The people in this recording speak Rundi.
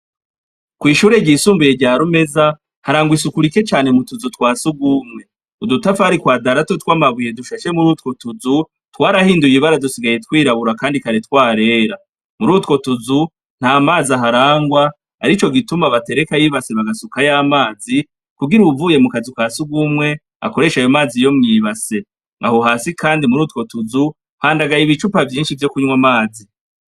Kw'ishure ryisumbuye rya Rumeza harangwa isuku rike cane mu tuzu twa sugumwe, udutafari kwadarato tw'amabuye dushashe muri utwo tuzu twarahinduye ibara dusigaye twirabura kandi kare twarera, muri utwo tuzu nta mazi aharangwa arico gituma baterekayo ibase bagasukayo amazi kugira uwuvuye mu kazi ka sugumwe akoreshe ayo mazi yo mw'ibase, aho hasi kandi muri utwo tuzu handagaye ibicupa vyinshi vyo kunywa amazi.